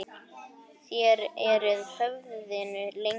Þér eruð höfðinu lengri.